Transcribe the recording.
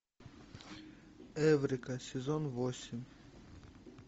эврика сезон восемь